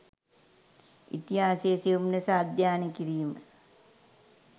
ඉතිහාසය සියුම් ලෙස අධ්‍යනය කිරිම